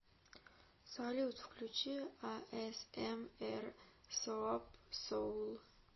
салют включи а эс эм эр соап соул